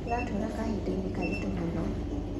Tũratũra kahindainĩ karitũ mũno